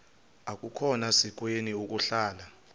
akukhona sikweni ukuhlala